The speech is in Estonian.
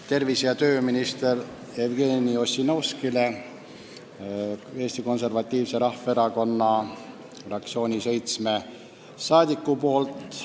Mul on üle anda seitsme Eesti Konservatiivse Rahvaerakonna fraktsiooni liikme arupärimine tervise- ja tööminister Jevgeni Ossinovskile.